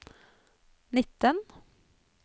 nitten